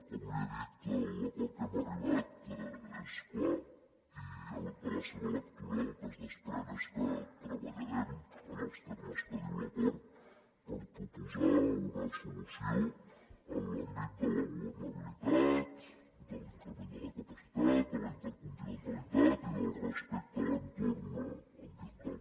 com li he dit l’acord a què hem arribat és clar i de la seva lectura el que es desprèn és que treballarem en els termes que diu l’acord per proposar una solució en l’àmbit de la governabilitat de l’increment de la capacitat de la intercontinentalitat i del respecte a l’entorn ambiental